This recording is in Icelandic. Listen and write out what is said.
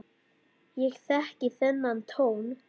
Ég þekki þennan tón.